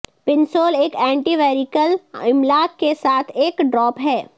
پنسول ایک اینٹی ویریکیل املاک کے ساتھ ایک ڈراپ ہے